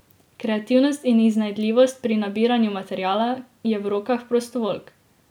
Kreativnost in iznajdljivost pri nabiranju materiala, je v rokah prostovoljk.